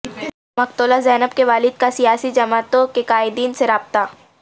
مقتولہ زینب کے والد کا سیاسی جماعتوں کے قائدین سے رابطہ